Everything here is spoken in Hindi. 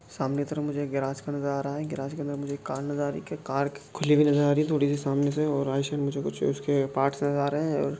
सामने की तरफ मुझे एक गेराज खड़ा नजर आ रहा हैं गेराज की तरफ मुझे एक कार नजर आ रही है कार खुली हुई नजर आ रही है थोड़ी- सी सामने से और आइट- साइड मुझे उसके पार्ट्स नजर आ रहे हैं।